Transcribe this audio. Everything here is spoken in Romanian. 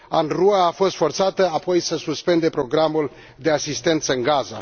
UNRWA a fost forțată apoi să suspende programul de asistență în Gaza.